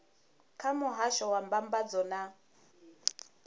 kha muhasho wa mbambadzo na